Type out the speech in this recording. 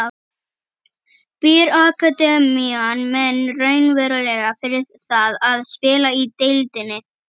Býr akademían menn raunverulega fyrir það að spila í deildinni?